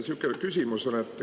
Sihukene küsimus on.